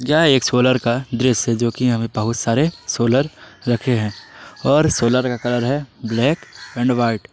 यह एक सोलर का ड्रेस है जो कि यहां पे बहुत सारे सोलर रखे हैं और सोलर का कलर है ब्लैक एंड व्हाइट।